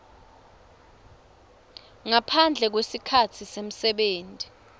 ngaphandle kwesikhatsi semsebenti